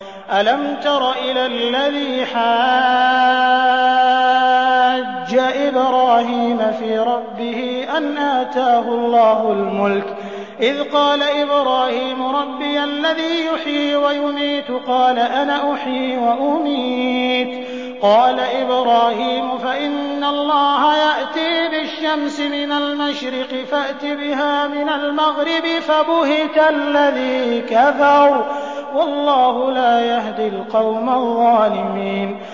أَلَمْ تَرَ إِلَى الَّذِي حَاجَّ إِبْرَاهِيمَ فِي رَبِّهِ أَنْ آتَاهُ اللَّهُ الْمُلْكَ إِذْ قَالَ إِبْرَاهِيمُ رَبِّيَ الَّذِي يُحْيِي وَيُمِيتُ قَالَ أَنَا أُحْيِي وَأُمِيتُ ۖ قَالَ إِبْرَاهِيمُ فَإِنَّ اللَّهَ يَأْتِي بِالشَّمْسِ مِنَ الْمَشْرِقِ فَأْتِ بِهَا مِنَ الْمَغْرِبِ فَبُهِتَ الَّذِي كَفَرَ ۗ وَاللَّهُ لَا يَهْدِي الْقَوْمَ الظَّالِمِينَ